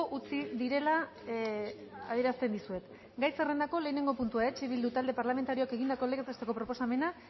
utzi direla adierazten dizuet gai zerrendako lehenengo puntua eh bildu talde parlamentarioak egindako legez besteko proposamena